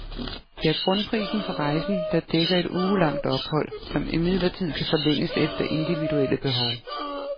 Det er grundprisen for rejsen, der dækker et ugelangt ophold, som imidlertid kan forlænges efter individuelle behov.